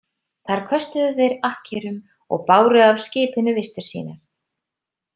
Þar köstuðu þeir akkerum og báru af skipinu vistir sínar.